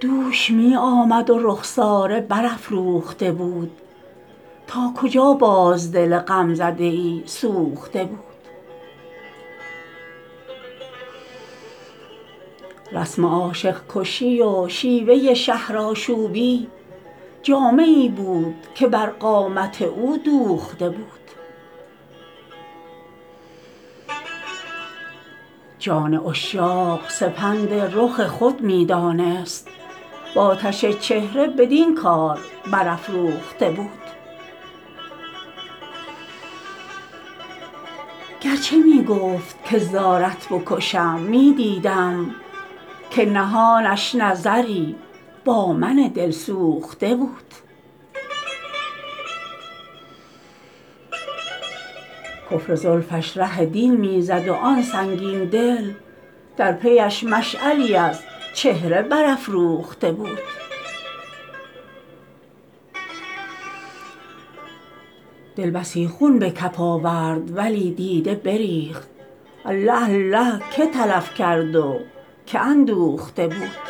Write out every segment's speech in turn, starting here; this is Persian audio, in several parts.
دوش می آمد و رخساره برافروخته بود تا کجا باز دل غمزده ای سوخته بود رسم عاشق کشی و شیوه شهرآشوبی جامه ای بود که بر قامت او دوخته بود جان عشاق سپند رخ خود می دانست و آتش چهره بدین کار برافروخته بود گر چه می گفت که زارت بکشم می دیدم که نهانش نظری با من دلسوخته بود کفر زلفش ره دین می زد و آن سنگین دل در پی اش مشعلی از چهره برافروخته بود دل بسی خون به کف آورد ولی دیده بریخت الله الله که تلف کرد و که اندوخته بود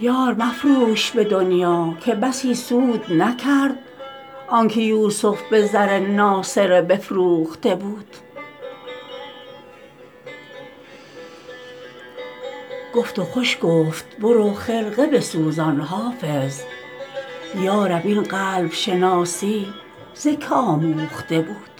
یار مفروش به دنیا که بسی سود نکرد آن که یوسف به زر ناسره بفروخته بود گفت و خوش گفت برو خرقه بسوزان حافظ یا رب این قلب شناسی ز که آموخته بود